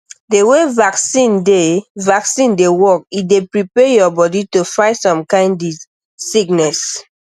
the way vaccine dey vaccine dey work e dey prepare your body to fight some kind sickness